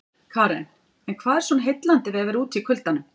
Karen: En hvað er svona heillandi við að vera úti í kuldanum?